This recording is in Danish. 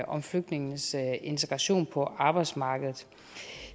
om flygtningenes integration på arbejdsmarkedet